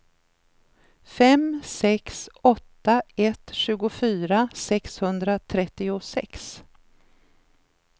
fem sex åtta ett tjugofyra sexhundratrettiosex